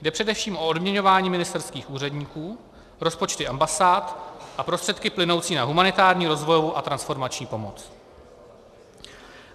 Jde především o odměňování ministerských úředníků, rozpočty ambasád a prostředky plynoucí na humanitární, rozvojovou a transformační pomoc.